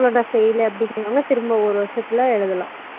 fail அப்புடிங்கறாவாங்க திரும்ப ஒரு வருஷம் full அ எழுதாலாம்